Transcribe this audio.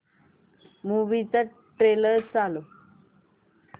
movie चा trailer चालव